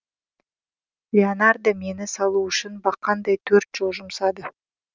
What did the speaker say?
леонардо мені салу үшін бақандай төрт жыл жұмсады